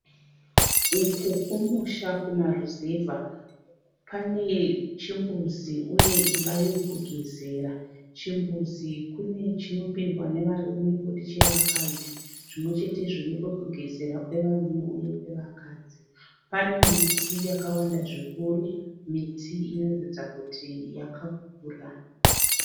Uku kumusha kumaruzevha panechimbuzi uye imba yokugezera. Chimbuzi kune chinopindwa nevarume koti chevakadzi. Zvimwechetezvo nepekugezera kwevarume uye kwevakadzi. Pane miti yakawanda zvikuru, miti inoratidza kuti yakakura.